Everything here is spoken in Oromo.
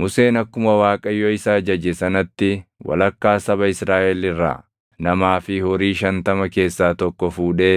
Museen akkuma Waaqayyo isa ajaje sanatti walakkaa saba Israaʼel irraa namaa fi horii shantama keessaa tokko fuudhee